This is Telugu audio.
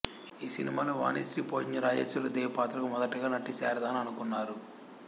ఈ సినిమాలో వాణిశ్రీ పోషించిన రాజేశ్వరి దేవి పాత్రకు మొదటగా నటి శారదను అనుకున్నారు